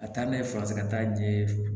A taa n'a ye faransikan ɲɛ